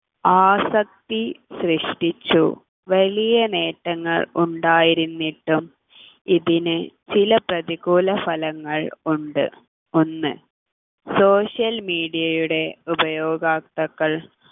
ആസക്തി സൃഷ്ടിച്ചു വലിയ നേട്ടങ്ങൾ ഉണ്ടായിരുന്നിട്ടും ഇതിനു ചില പ്രതികൂല ഫലങ്ങൾ ഉണ്ട് ഒന്ന് social media ടെ ഉപയോഗാക്താക്കൾ